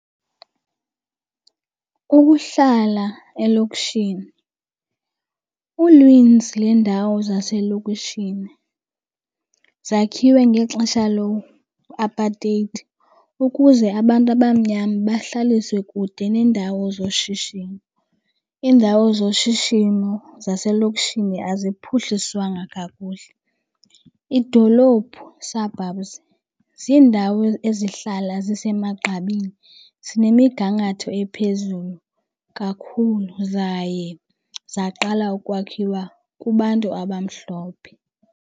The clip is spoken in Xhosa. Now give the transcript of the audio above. Kukuhlala elokishini. Uninzi lweendawo zaselokishini zakhiwe ngexesha loo-apartheid ukuze abantu abamnyama bahlaliswe kude neendawo zoshishino. Iindawo zoshishino zaselokishini aziphuhliswanga kakuhle. Idolophu, suburbs, ziindawo ezihlala zise magqabini, zinemigangatho ephezulu kakhulu zaye zaqala ukwakhiwa kubantu abamhlophe.